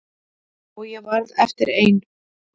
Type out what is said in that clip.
Og ég varð eftir ein.